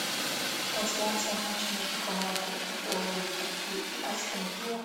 трансляция матча между командами апл ливерпуль и астон вилла